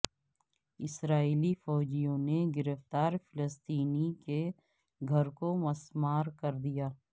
اسرائیلی فوجیوں نے گرفتار فلسطینی کے گھر کو مسمار کر دیا